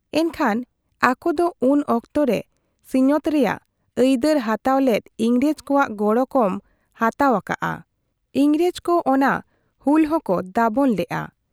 ᱮᱱᱠᱷᱟᱱ ᱟᱠᱚᱫᱚ ᱩᱱ ᱚᱠᱛᱚ ᱨᱮ ᱥᱤᱧᱚᱛ ᱨᱮᱭᱟᱜ ᱟᱹᱭᱫᱟᱹᱨ ᱦᱟᱛᱟᱣ ᱞᱮᱫ ᱤᱝᱨᱮᱡᱽ ᱠᱚᱣᱟᱜ ᱜᱚᱲᱚ ᱠᱚᱢ ᱦᱟᱛᱟᱣ ᱟᱠᱟᱜ ᱟ᱾ ᱤᱝᱨᱮᱡᱽ ᱠᱚ ᱚᱱᱟ ᱦᱩᱞ ᱦᱚᱸᱠᱚ ᱫᱟᱵᱚᱱ ᱞᱮᱜ ᱟ ᱾